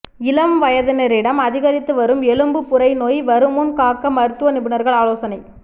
இளம் வயதினரிடம் அதிகரித்து வரும் எலும்பு புரை நோய் வருமுன் காக்க மருத்துவ நிபுணா்கள் ஆலோசனை